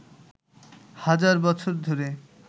হাজার বছর ধরে